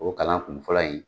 O kalan kun fɔlɔ in